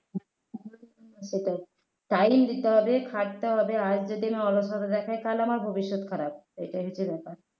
সেটাই time দিতে হবে খাটতে হবে আজ যদি না . তাহলে আমার ভবিষ্যৎ খারাপ সেটাই হচ্ছে ব্যাপার